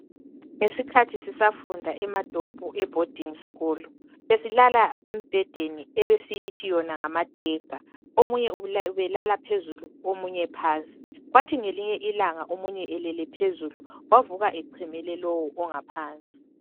Ngesikhathi sisafunda eMatopo e boarding school besilala embhedeni ebesiyithi yona ngama decker omunye ubelala phezulu omunye phansi kwathi ngelinye ilanga omunye elele phezulu wavuka echemele lowu ongaphansi